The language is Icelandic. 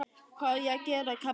Hvað á ég að gera, kefla hana?